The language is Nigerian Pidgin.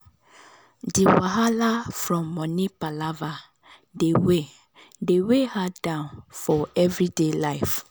the wahala from money palava dey weigh dey weigh her down for everyday life.